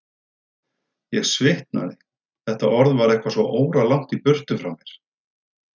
Ég svitnaði, þetta orð var eitthvað svo óralangt í burtu frá mér.